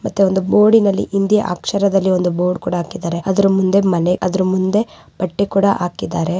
ಮತ್ತೆ ಒಂದು ಬೋರ್ಡಿನಲ್ಲಿ ಹಿಂದಿ ಅಕ್ಷರದಲ್ಲಿ ಒಂದು ಬೋರ್ಡ ಕೂಡ ಹಾಕಿದ್ದಾರೆ. ಅದ್ರ ಮುಂದೆ ಮನೆ ಅದ್ರ ಮುಂದೆ ಬಟ್ಟೆ ಕೂಡ ಹಾಕಿದ್ದಾರೆ.